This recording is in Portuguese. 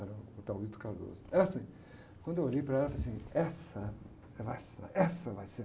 Era, estava muito calor. É assim, quando eu olhei para ela, eu falei assim, essa, era essa, essa vai ser.